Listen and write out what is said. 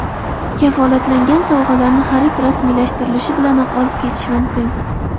Kafolatlangan sovg‘alarni xarid rasmiylashtirilishi bilanoq olib ketish mumkin.